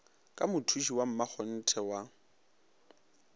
ka mothuši wa mmakgonthe wa